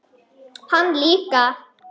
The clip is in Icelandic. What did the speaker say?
Hann líka.